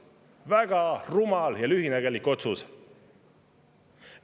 Väga rumal ja lühinägelik otsus.